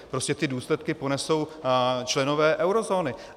Prostě ty důsledky ponesou členové eurozóny.